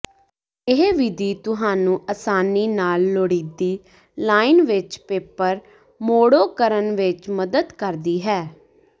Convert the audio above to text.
ਇਹ ਵਿਧੀ ਤੁਹਾਨੂੰ ਆਸਾਨੀ ਨਾਲ ਲੋੜੀਦੀ ਲਾਈਨ ਵਿਚ ਪੇਪਰ ਮੋੜੋ ਕਰਨ ਵਿੱਚ ਮਦਦ ਕਰਦੀ ਹੈ